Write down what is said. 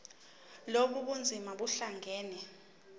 lobu bunzima buhlangane